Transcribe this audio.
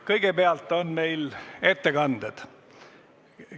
Kõigepealt on meil ettekanded.